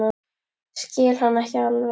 Skil hann ekki alveg.